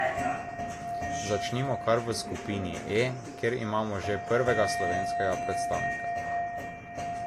Začnimo kar v skupini E, kjer imamo že prvega slovenskega predstavnika.